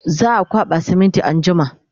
za'a kwaɓa siminti anjima